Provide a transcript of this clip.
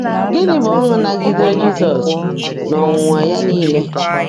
Gịnị bụ ọṅụ naagidere Jizọs n'ọnwụnwa ya nile?